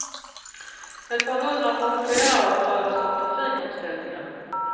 Ett par hundra passagerare berördes av trafikomställningen.